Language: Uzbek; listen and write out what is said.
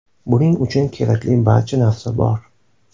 Buning uchun kerakli barcha narsa bor.